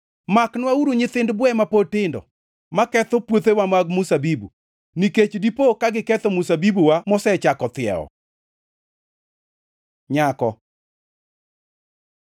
Maknwauru nyithind bwe ma pod tindo, maketho puothewa mag mzabibu; nikech dipo ka giketho mzabibuwa mosechako thiewo. Nyako